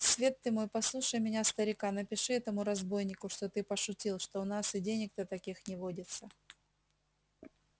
свет ты мой послушай меня старика напиши этому разбойнику что ты пошутил что у нас и денег то таких не водится